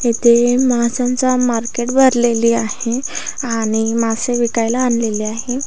येथे मासाचा मार्केट भरलेली आहे आणि मासे विकायला आणलेले आहे.